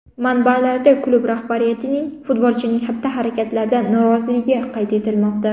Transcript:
Manbalarda klub rahbariyatining futbolchining xatti-harakatlaridan noroziligi qayd etilmoqda.